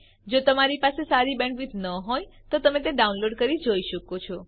જો તમારી પાસે સારી બેન્ડવિડ્થ ન હોય તો તમે ડાઉનલોડ કરી તે જોઈ શકો છો